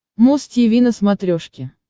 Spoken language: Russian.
муз тиви на смотрешке